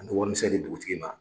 An dugutigi ma.